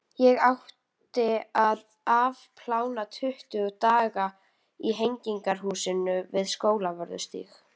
Ég átti að afplána tuttugu daga í Hegningarhúsinu við Skólavörðustíg.